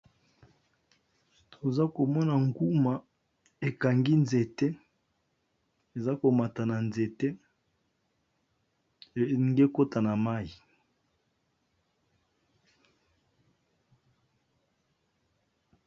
Toza komona nguma ekangi nzete eza komata na nzete enge kota na mayi